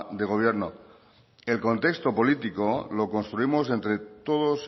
de gobierno el contexto político lo construimos entre todos